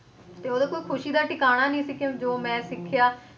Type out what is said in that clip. ਤੇ ਉਹਦੇ ਕੋਈ ਖ਼ੁਸ਼ੀ ਦਾ ਠਿਕਾਣਾ ਨੀ ਸੀ ਕਿ ਜੋ ਮੈਂ ਸਿੱਖਿਆ,